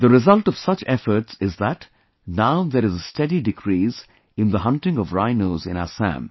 The result of such efforts is that now there is a steady decrease in the hunting of rhinos in Assam